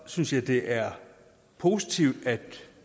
synes jeg det er positivt at